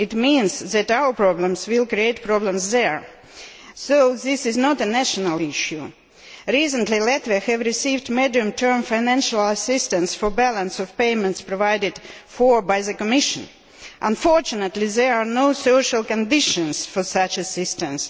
This means that our problems will create problems there, so this is not a national issue. Recently, Latvia received medium term financial assistance for balance of payments, provided for by the Commission. Unfortunately, there are no social conditions for such assistance.